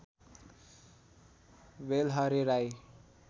Belhare Rai